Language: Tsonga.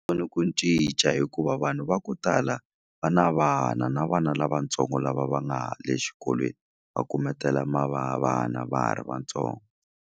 Voni ku cinca hikuva vanhu va ku tala va na vana na vana lavatsongo lava va nga ha le xikolweni va kumetela ma vana va ha ri vatsongo.